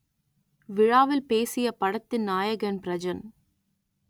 விழாவில் பேசிய படத்தின் நாயகன் பிரஜன்